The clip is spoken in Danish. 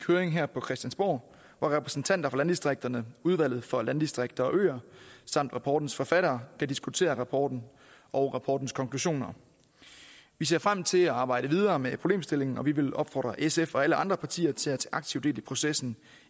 høring her på christiansborg hvor repræsentanter for landdistrikterne udvalget for landdistrikter og øer samt rapportens forfattere kan diskutere rapporten og rapportens konklusioner vi ser frem til at arbejde videre med problemstillingen og vi vil opfordre sf og alle andre partier til at tage aktivt del i processen